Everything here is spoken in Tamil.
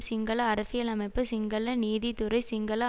சிங்கள அரசியலமைப்பு சிங்கள நீதித்துறை சிங்கள